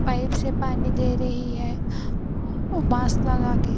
Pipe से पानी दे रही है ओ मास्क लगा के।